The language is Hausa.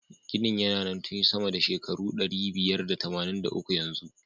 Ginin na nan tun sama da shekaru ɗari biyar da tamanin da uku yanzu.